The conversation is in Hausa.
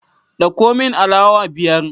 Dauko min alawa biyar